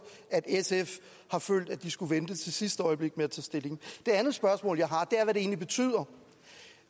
at sf har følt at de skulle vente til sidste øjeblik med at tage stilling det andet spørgsmål jeg har er egentlig betyder